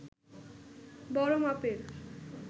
বড় মাপের